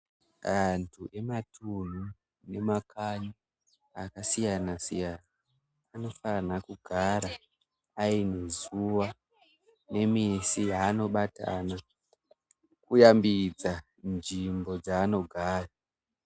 Antu ematunhu nemakanyi akasiyana siyana anofana kugara ainemazuwa nemisi yaanobatana kuyambidza nzvimbo dzaanogara.